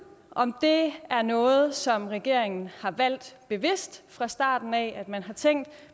om det er noget som regeringen har valgt bevidst fra starten af man har tænkt at